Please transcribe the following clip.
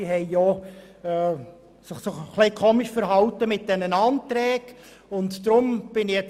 Die Spitex hat sich auch in Bezug auf die Anträge ein wenig merkwürdig verhalten.